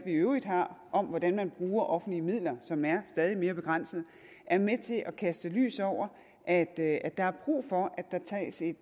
øvrigt har om hvordan man bruger offentlige midler som er stadig mere begrænsede er med til at kaste lys over at at der er brug for at der tages et